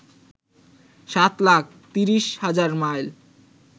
৭ লাখ ৩০ হাজার মাইল